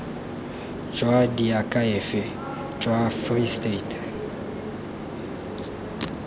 jwa diakhaefe jwa free state